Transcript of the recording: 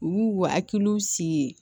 U y'u hakiliw si ye